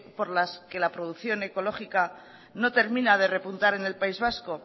por las que la producción ecológica no termina de repuntar en el país vasco